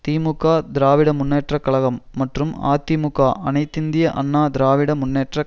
திமுக திராவிட முன்னேற்ற கழகம் மற்றும் அதிமுக அனைத்து இந்திய அண்ணா திராவிட முன்னேற்ற